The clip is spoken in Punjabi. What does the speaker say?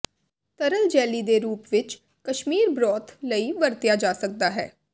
ਤਰਲ ਜੈਲੀ ਦੇ ਰੂਪ ਵਿੱਚ ਕਸ਼ਮੀਰ ਬਰੋਥ ਲਈ ਵਰਤਿਆ ਜਾ ਸਕਦਾ ਹੈ